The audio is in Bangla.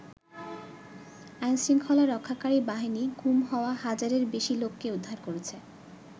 আইনশৃঙ্খলা রক্ষাকারী বাহিনী গুম হওয়া হাজারের বেশি লোককে উদ্ধার করেছে।